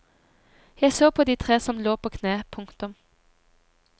Jeg så på de tre som lå på kne. punktum